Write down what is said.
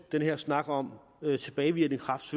den her snak om tilbagevirkende kraft